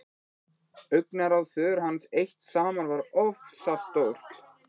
Augnaráð föður hans eitt saman var oftast nóg.